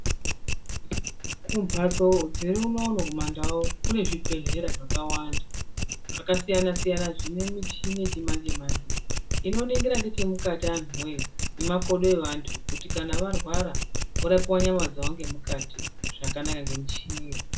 Kumhatso dziri unono kumandau kune zvibhedhlera zvakawanda zvakasiyana siyana zvine michini yechimanje manje inoningira nechemukati antu woye nemakodo eantu kuti kana arwara vorapiwe nyama dzavo ngemukati zvakanaka ngemichini